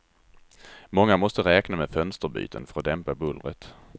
Många måste räkna med fönsterbyten för att dämpa bullret.